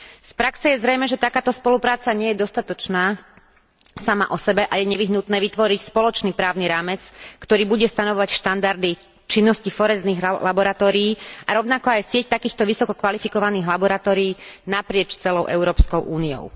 Z praxe je zrejmé, že takáto spolupráca nie je dostatočná sama osebe a je nevyhnutné vytvoriť spoločný právny rámec, ktorý bude stanovovať štandardy činnosti forenzných laboratórií, a rovnako aj sieť takýchto vysokokvalifikovaných laboratórií naprieč celou Európskou úniou.